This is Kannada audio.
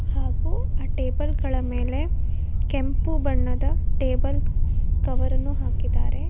ಹಾಗು ಆ ಟೇಬಲ್ ಗಳ ಮೇಲೆ ಕೆಂಪು ಬಣ್ಣದ ಟೇಬಲ್ ಕವರ್ ಅನ್ನು ಹಾಕಿದ್ದಾರೆ.